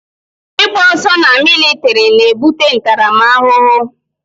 Ị gba ọsọ na militiri na ebute ntaramahụhụ